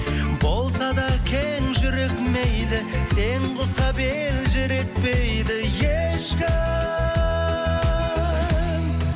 болса да кең жүрек мейлі сен ұқсап елжіретпейді ешкім